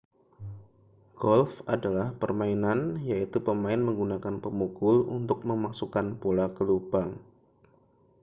golf adalah permainan yaitu pemain menggunakan pemukul untuk memasukkan bola ke lubang